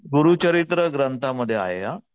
गुरुचरित्र ग्रंथा मध्ये आहे हा.